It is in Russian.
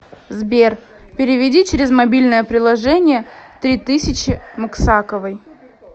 сбер переведи через мобильное приложение три тысячи максаковой